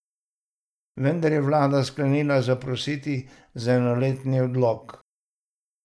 Vendar je vlada sklenila zaprositi za enoletni odlog.